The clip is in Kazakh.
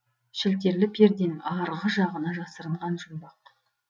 шілтерлі перденің ары жағына жасырынған жұмбақ